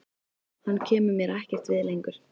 Hann kemur mér ekkert við lengur.